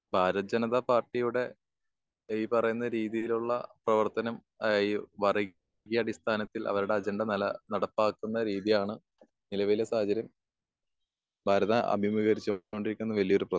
ഭാരത് ജനതാ പാർട്ടിയുടെ ഈ പറയുന്ന രീതിയിലുള്ള പ്രവർത്തനം ഈ അടിസ്ഥാനത്തിൽ അവരുടെ അജണ്ട നടപ്പാക്കുന്ന രീതിയാണ് നിലവിലെ സാഹചര്യം ഭാരതം അഭിമുഗീകരിച്ച് കൊണ്ടിരിക്കുന്ന വലിയ്യൊരു പ്രശ്നം.